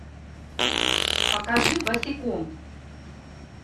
покажи босиком